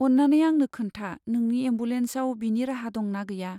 अन्नानै आंनो खोन्था नोंनि एम्बुलेन्साव बिनि राहा दं ना गैया।